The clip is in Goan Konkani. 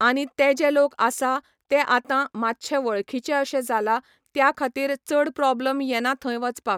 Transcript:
आनी ते जे लोक आसा ते आतां मातशे वळखीचे अशे जाला, त्या खातीर चड प्रोब्लम येना थंय वचपाक.